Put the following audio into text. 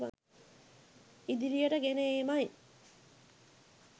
ඉදිරියට ගෙන ඒමයි.